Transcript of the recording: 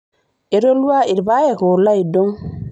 Etolua ilapayek oolo aidong.